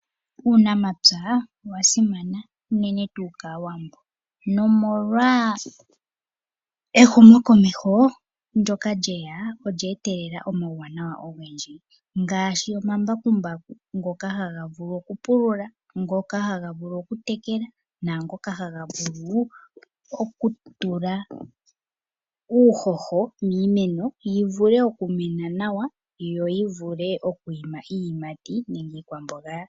Uunamapya owa simana unene tuu kAawambo nomolwa ehumo komeho ndyoka lye ya olya etelela omauwanawa ogendji ngaashi omambakumbaku ngoka haga vulu okupulula, ngoka haga vulu okutekela naangoka haga vulu okutula uuhoho piimeno yi vule okumena nawa yo yivule oku ima iiyimati nenge iikwamboga.